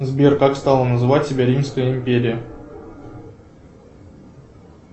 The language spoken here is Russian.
сбер как стала называть себя римская империя